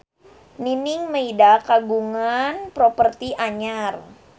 Nining Meida kagungan properti anyar